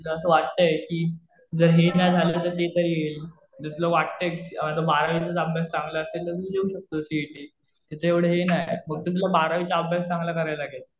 तुला असं वाटतंय कि जर हे नाही झालं तर ते तरी. जर तुला वाटतंय कि बारावीचा अभ्यास चांगला असेल तर तू देऊ शकतो सीइटी. त्याचं एवढं हे नाही. फक्त तुला बारावीचा अभ्यास चांगला करायला लागेल.